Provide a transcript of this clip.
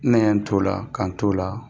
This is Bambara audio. Ne ye n t'o la ka n t'o la